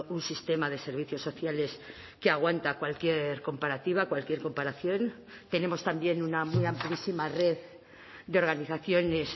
un sistema de servicios sociales que aguanta cualquier comparativa cualquier comparación tenemos también una muy amplísima red de organizaciones